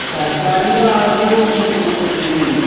സർക്കാരിൻറെ ഭാഗത്തൂന്നും ഉം ഉം ഉം പ്രശ്നങ്ങളുണ്ട്.